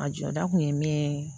A jɔda kun ye min ye